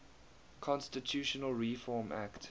constitutional reform act